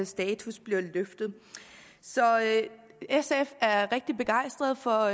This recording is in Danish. status så sf er rigtig begejstret for